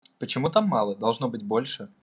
почему там мало должно быть больше